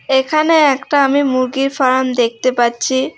এখানে একটা আমি মুরগির ফার্ম দেখতে পাচ্ছি।